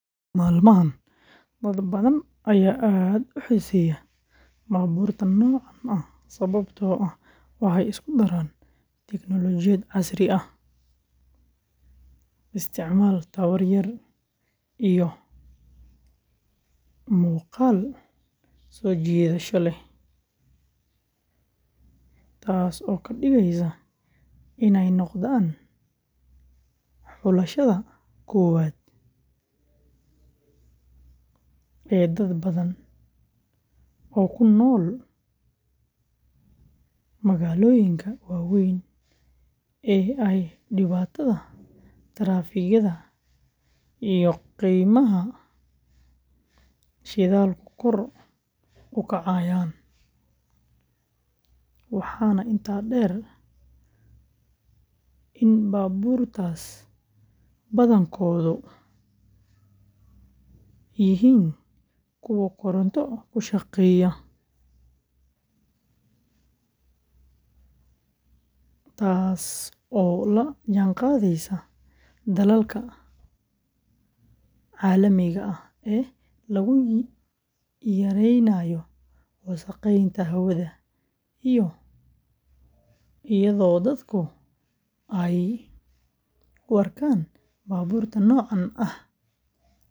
Maalmahan, dad badan ayaa aad u xiiseeya baabuurta noocaan ah sababtoo ah waxay isku daraan tignoolajiyad casri ah, isticmaal tamar yar, iyo muuqaal soo jiidasho leh, taasoo ka dhigaysa inay noqdaan xulashada koowaad ee dad badan oo ku nool magaalooyinka waaweyn ee ay dhibaatada taraafikada iyo qiimaha shidaalku kor u kacayaan, waxaana intaa dheer in baabuurtaas badankoodu yihiin kuwo koronto ku shaqeeya, taasoo la jaanqaadaysa dadaalka caalamiga ah ee lagu yaraynayo wasakheynta hawada, iyadoo dadku ay u arkaan baabuurta noocaan ah.